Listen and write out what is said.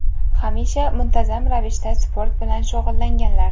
Hamisha muntazam ravishda sport bilan shug‘ullanganlar.